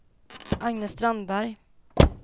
Agne Strandberg